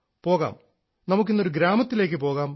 പോകാം നമുക്കിന്ന് ഒരു ഗ്രാമത്തിലേക്കു പോകാം